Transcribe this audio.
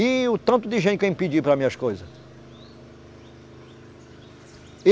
E o tanto de gente que vem pedir para mim as coisas.